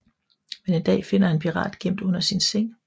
Men en dag finder han en pirat gemt under sin seng